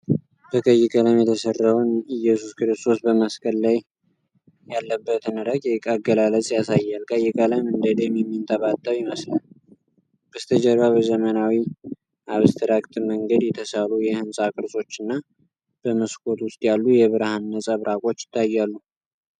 በቀይ ቀለም የተሰራውን ኢየሱስ ክርስቶስ በመስቀል ላይ ያለበትን ረቂቅ አገላለጽ ያሳያል። ቀይ ቀለም እንደ ደም የሚንጠባጠብ ይመስላል። በስተጀርባ በዘመናዊ አብስትራክት መንገድ የተሳሉ የህንጻ ቅርጾችና በመስኮት ውስጥ ያሉ የብርሃን ነጸብራቆች ይታያሉ።